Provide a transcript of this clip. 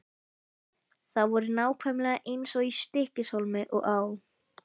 Þau voru nákvæmlega eins í Stykkishólmi og á